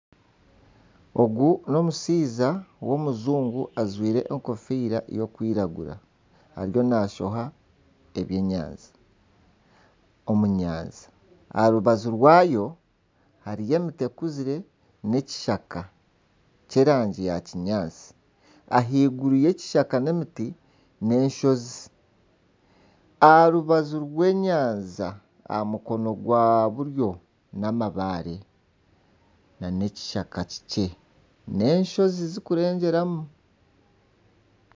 Ogu n'omushaija w'omujungu ajwire enkofiira erikwiragura ariyo nashoha ebyenyanja omu nyanja. Aha rubaju rwayo hariyo emiti ekuzire n'ekishaka ky'erangi ya kinyaatsi. Ah'iguru y'ekishaka n'emiti, n'enshozi aha rubaju rw'enyanja aha mukono gwa buryo ni amabaare nana ekishaka kikye n'enshozi zirikurenjeramu.